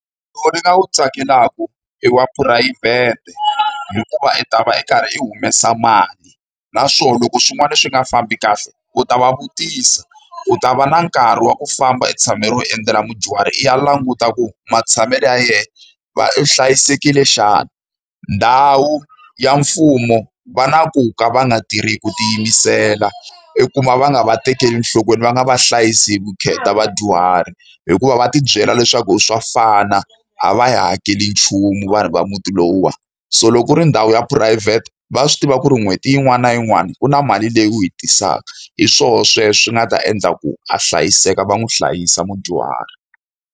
ndzi nga wu tsakelaka i wa phurayivhete, hikuva i ta va i karhi i humesa mali. Naswona loko swin'wana swi nga fambi kahle, u ta va vutisa, u ta va na nkarhi wa ku famba u tshamela ro endzela mudyuhari i ya languta ku matshamelo ya yena va u hlayisekile xana. Ndhawu ya mfumo va na ku ka va nga tirhi hi ku tiyimisela, i kuma va nga va tekeli enhlokweni va nga va hlayisi hi vukheta vadyuhari. Hikuva va ti byela leswaku swa fana na a va hi hakeli nchumu vanhu va muti lowuwani. So loko u ri ndhawu ya phurayivhete, va swi tiva ku ri n'hweti yin'wana na yin'wana ku na mali leyi u yi tisaka. Hi swona sweswo swi nga ta endla ku a hlayiseka, va n'wi hlayisa mudyuhari.